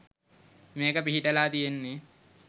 මේක පිහිටලා තියෙන්න.